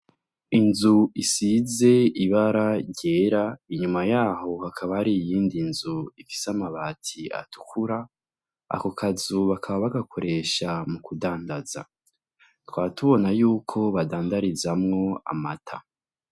Inzu isize ibara ryera. Inyuma y'aho hakaba har'iyindi nzu ifise amabati atukura. Ako kazu bakaba bagakoresha mu kudandaza. Tukaba tubona yuko baadandarizamwo amata.